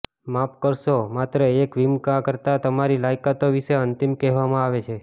માફ કરશો માત્ર એક વીમાકર્તા તમારી લાયકાતો વિશે અંતિમ કહેવામાં આવે છે